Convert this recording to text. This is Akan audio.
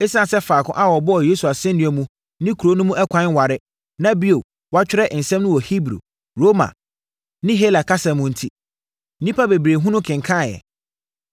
Esiane sɛ faako a wɔbɔɔ Yesu asɛnnua mu ne kuro no mu ɛkwan nware, na bio wɔatwerɛ nsɛm no wɔ Hebri, Roma ne Hela kasa mu no enti, nnipa bebree hunu kenkaneeɛ.